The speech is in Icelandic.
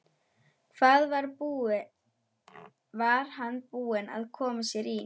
Hvað var hann búinn að koma sér í?